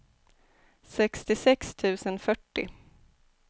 sextiosex tusen fyrtio